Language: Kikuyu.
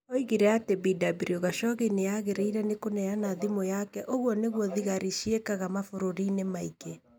Oigire atĩ Bw Khashoggi nĩ aagĩrĩirũo nĩ kũneana thimũ yake Ũguo nĩguo thigari ciĩkaga mabũrũri-inĩ maingĩ.